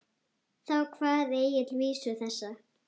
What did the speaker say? Þá kvað Egill vísu þessa: